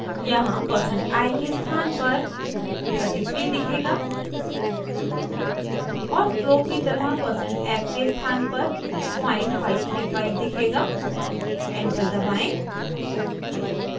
यहाँ percent i %i के स्थान पर 33 दिखेगा और फ्लो की तरह परसेंट f %f के स्थान पर पॉइंट 535 0535 दिखेगा एंटर दबाएं